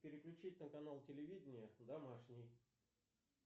переключить на канал телевидения домашний